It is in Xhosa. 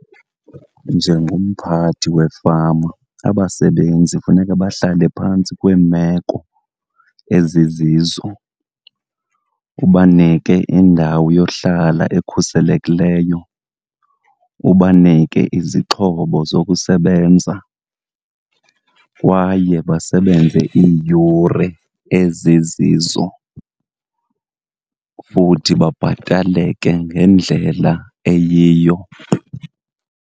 Njengomphathi wefama, abasebenzi funeka bahlale phantsi kweemeko ezizizo. Ubanike indawo yohlala ekhuselekileyo, ubanike izixhobo zokusebenza kwaye basebenze iiyure ezizizo futhi babhataleke ngendlela eyiyo.